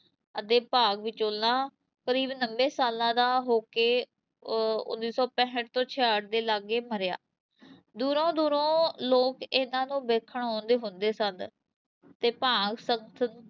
ਦੇ ਭਾਗ ਵਿਚੋਲਾ ਕਰੀਬ ਨੱਬੇ ਸਾਲਾਂ ਦਾ ਹੋ ਕੇ ਅਹ ਉੱਨੀ ਸੌ ਪੈਂਹਠ ਤੋਂ ਛਿਆਹਠ ਦੇ ਲਾਗੇ ਮਰਿਆ, ਦੂਰੋਂ ਦੂਰੋਂ ਲੋਕ ਇਹਨਾਂ ਨੂੰ ਵੇਖਣ ਆਉਂਦੇ ਹੁੁੰਦੇ ਸਨ, ਤੇ ਭਾਗ